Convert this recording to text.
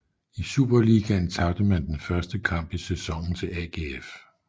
I Superligaen tabte man den første kamp i sæsonen til AGF